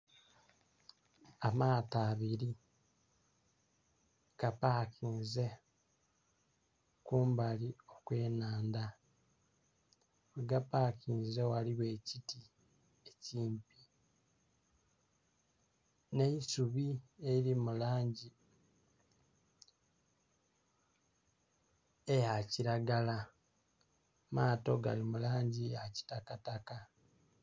Amaato abili gapakinze kumbali okwenhandha ghegapakinze ghaligho ekiti ekimpi nh'eisubi elili mu langi eya kilagala. Amaato gali mu langi ya kitakataka